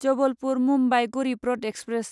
Jabalpur Mumbai Garibrath express